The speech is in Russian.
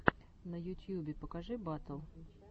на ютьюбе покажи батл